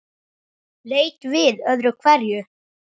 Leit við öðru hverju.